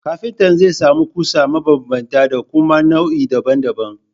Kafinta zai sami ƙusa mabanbanta da kuma nau’i daban daban